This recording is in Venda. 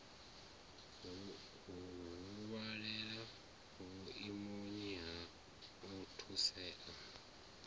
huvhale vhuimoni ha u thusea